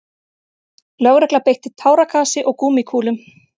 Lögregla beitti táragasi og gúmmíkúlum